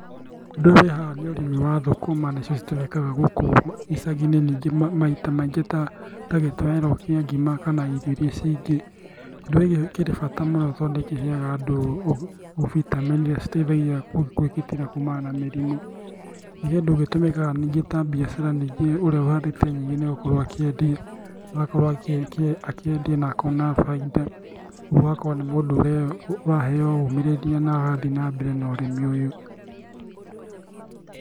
Ũndũ ũyũ wĩ haha nĩ ũrĩmi wa thũkũma nicio citũmĩkaga gũkũ icagi-inĩ nĩngĩ maita maingĩ ta gĩtoero kia ngima kana irio iria cingĩ, kĩndũ gĩkĩ kĩrĩ bata mũno tondũ nĩkĩheaga andũ vitamin iria citeithagia kwĩgitĩra kuumana na mĩrimu. Nĩ kĩndũ gĩtũmĩkaga nĩngĩ ta mbiacara nĩngĩ ũrĩa ũhandĩte nyingĩ nĩegũkorwo akĩendia. Agakorwo akĩendiana akona bainda oho agakorwo nĩ mũndũ ũraheo ũmĩrĩria na agathiĩ na mbere na ũrĩmi ũyũ